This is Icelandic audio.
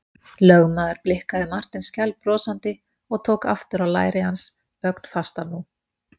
Lögmaðurinn blikkaði Martein skælbrosandi og tók aftur á læri hans, ögn fastar nú.